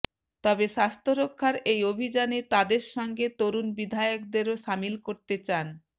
তবে স্বাস্থ্যরক্ষার এই অভিযানে তাঁদের সঙ্গে তরুণ বিধায়কদেরও সামিল করতে চান